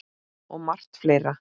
Og margt fleira.